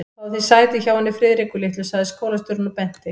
Fáðu þér sæti hjá henni Friðriku litlu sagði skólastjórinn og benti